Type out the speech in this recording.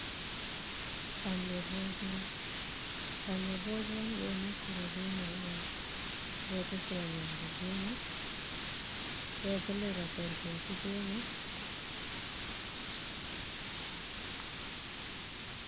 Panɗe ɓozuwa, panɗe bozuwa ni ɓe ɗo defira ɓe Mai on ɓe ɗo defira nyamdu ɓe Mai, ɓedo dollira perpesu ɓe mai.